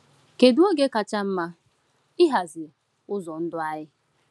Kedu oge kacha mma ịhazi ụzọ ndụ anyị?